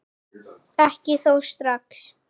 Ekki þó strax.